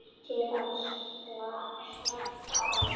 Til að slaka á.